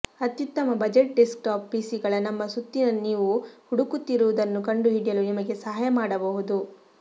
ಅತ್ಯುತ್ತಮ budget desktop ಪಿಸಿಗಳ ನಮ್ಮ ಸುತ್ತಿನ ನೀವು ಹುಡುಕುತ್ತಿರುವುದನ್ನು ಕಂಡುಹಿಡಿಯಲು ನಿಮಗೆ ಸಹಾಯ ಮಾಡಬಹುದು